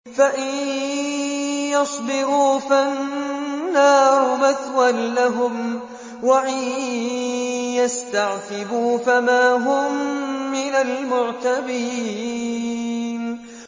فَإِن يَصْبِرُوا فَالنَّارُ مَثْوًى لَّهُمْ ۖ وَإِن يَسْتَعْتِبُوا فَمَا هُم مِّنَ الْمُعْتَبِينَ